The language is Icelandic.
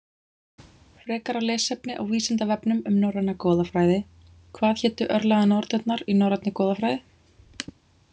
Frekara lesefni á Vísindavefnum um norræna goðafræði: Hvað hétu örlaganornirnar í norrænni goðafræði?